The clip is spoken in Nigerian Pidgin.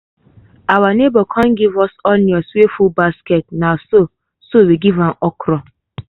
our neighbor come give us onions wey full basket na so so we give am okra.